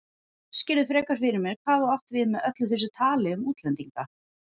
Útskýrðu frekar fyrir mér hvað þú áttir við með öllu þessu tali um útlendinga.